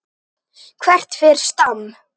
Hvert fer Stam?